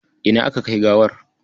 Ina aka kai gawar?